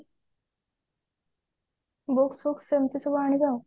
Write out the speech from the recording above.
books ଫୁକ୍ସ ଏମତି ସବୁ ଆଣିବି ଆଉ